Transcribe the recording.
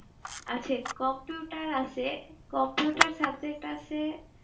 আছে computer আছে computer subject আছে ইয়ে computer main subject আমার